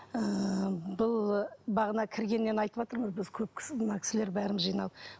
ыыы бұл бағана кіргеннен айтыватырмыз біз көп кісілер мына кісілер бәріміз жиналып